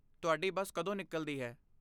ਤੁਹਾਡੀ ਬੱਸ ਕਦੋਂ ਨਿਕਲਦੀ ਹੈ?